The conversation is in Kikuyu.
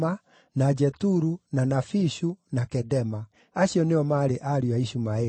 na Jeturu, na Nafishu, na Kedema. Acio nĩo maarĩ ariũ a Ishumaeli.